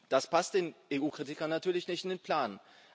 Das passt den EU Kritikern natürlich nicht in den Plan.